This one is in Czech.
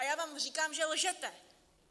A já vám říkám, že lžete!